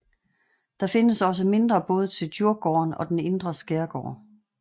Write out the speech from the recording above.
Der findes også mindre både til Djurgården og den indre skærgård